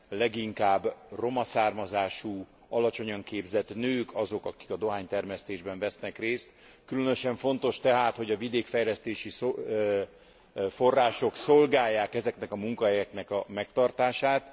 leginkább roma származású, alacsonyan képzett nők azok, akik a dohánytermesztésben vesznek részt. Különösen fontos tehát, hogy a vidékfejlesztési források szolgálják ezeknek a munkahelyeknek a megtartását.